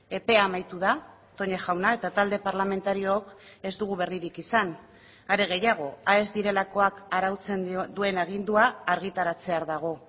epea amaitu da toña jauna eta talde parlamentariook ez dugu berririk izan are gehiago aes direlakoak arautzen duen agindua argitaratzear dago